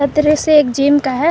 दृश्य जिम का है।